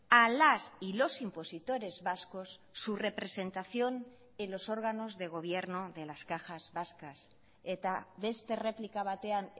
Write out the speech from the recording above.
a las y los impositores vascos su representación en los órganos de gobierno de las cajas vascas eta beste erreplika batean